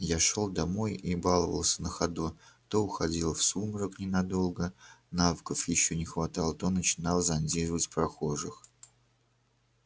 я шёл домой и баловался на ходу то уходил в сумрак ненадолго навыков ещё не хватало то начинал зондировать прохожих